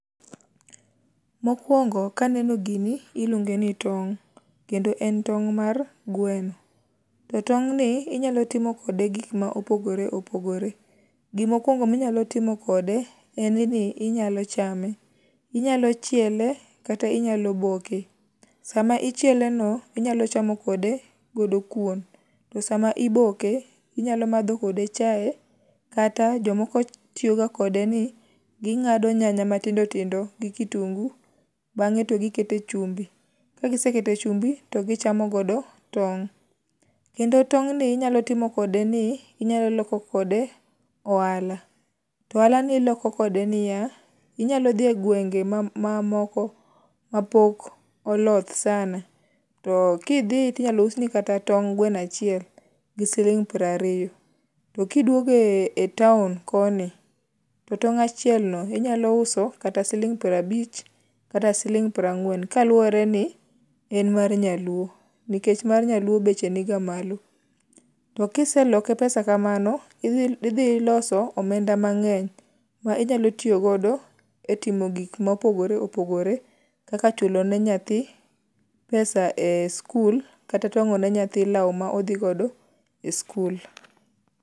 Mokwongo kaneno gini iluonge ni tong' kendo en tong' mar gweno to tong'ni inyalo timo kode gikma opogore opogore. Gimokwongo minyalo timo kode en ni inyalo chame, inyalo chiele kata inyalo boke. Sama ichieleno inyalo chamo kode godo kuon to sama iboke inyalo madho kode chae kata jomoko tiyoga kode ni ging'ado nyanya matindotindo gi kitungu bang'e to gikete chumbi, kagiseke chumbi to gichamo godo tong'. Kendo tong'ni inyalo timo kode ni, inyalo loko kode ohala, to ohalani iloko kode niya, inyalo dhi e gwenge mamoko mapok oloth sana to kidhi tinyalo usni kata tong gweno achiel gi sling' prariyo to kiduogo e taon koni to tong' achielno inyalo uso kata siling' prabich kata siling' prang'wen kaluwore ni en mar nyaluo nikech mar nyaluo beche ni ga malo. To kiseloke pesa kamano, idhi loso omenda mang'eny ma inyalo tiyogodo e timo gik mopogore opogore kaka chulo ne nyathi pesa e skul kata twang'o ne nyathi law ma odhigodo e skul.